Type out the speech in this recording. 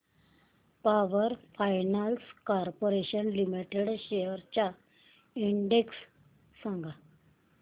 power finance corporation limited shares चा index सांगा